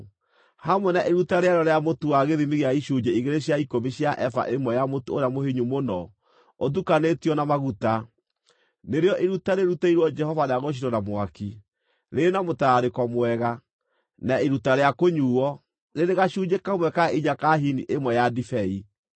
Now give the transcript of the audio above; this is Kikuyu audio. hamwe na iruta rĩarĩo rĩa mũtu wa gĩthimi gĩa icunjĩ igĩrĩ cia ikũmi cia eba ĩmwe ya mũtu ũrĩa mũhinyu mũno ũtukanĩtio na maguta, nĩrĩo iruta rĩrutĩirwo Jehova rĩa gũcinwo na mwaki, rĩrĩ na mũtararĩko mwega, na iruta rĩa kũnyuuo, rĩrĩ gacunjĩ kamwe ka inya ka hini ĩmwe ya ndibei.